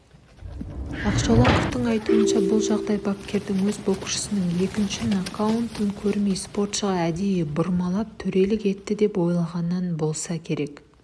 ақшолақовтың айтуынша бұл жағдай бапкердің өз боксшысының екінші нокдаунын көрмей спортшыға әдейі бұрмалап төрелік етті деп ойлағанынан болса керек